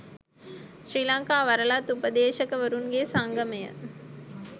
ශ්‍රී ලංකා වරලත් උපදේශකවරුන්ගේ සංගමය.